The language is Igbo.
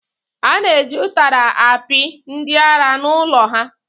A na-eji ụtara akpị ndị ara n’ụlọ ha